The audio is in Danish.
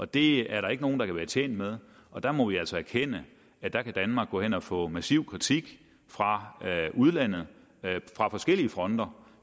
det er der ikke nogen der kan være tjent med og der må vi altså erkende at der kan danmark gå hen og få massiv kritik fra udlandet fra forskellige fronter